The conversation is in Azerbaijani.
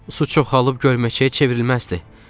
Su çoxalıb gölməçəyə çevrilməzdi."